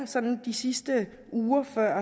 de sidste uger før